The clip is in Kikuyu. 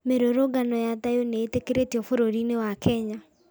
Mĩrũrũngano ya thayũ nĩ ĩtĩkĩrĩtio bũrũri-inĩ wa Kenya